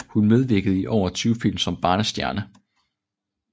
Hun medvirkede i over 20 film som barnestjerne